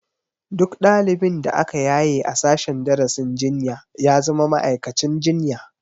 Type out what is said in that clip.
Duk ɗalibin da aka yaye a sashen darasin jinya ya zama ma'aikacin jinya